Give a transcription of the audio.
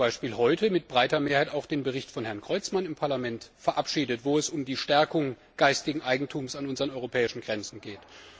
Wir haben ja zum Beispiel heute mit breiter Mehrheit auch den Bericht von Herrn Creutzmann im Parlament verabschiedet, in dem es um die Stärkung geistigen Eigentums an unseren europäischen Grenzen geht.